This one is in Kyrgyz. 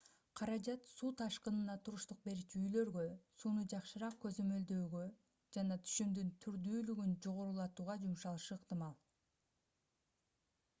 каражат суу ташкынына туруштук берүүчү үйлөргө сууну жакшыраак көзөмөлдөөгө жана түшүмдүн түрдүүлүгүн жогорулатууга жумшалышы ыктымал